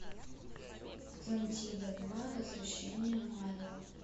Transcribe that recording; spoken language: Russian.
атлантида два возвращение майло